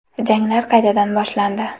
Janglar qaytadan boshlandi.